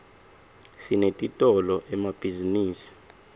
sinetitolo emabhzinisini